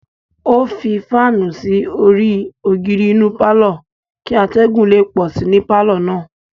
O fi faanu sí orí ogiri inú parlor kì atẹgun le pọ sí ní parlor náà